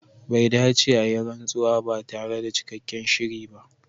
Bai dace a yi rantsuwa ba tare da cikakken shiri ba.